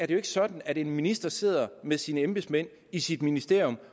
jo ikke sådan at en minister sidder med sine embedsmænd i sit ministerium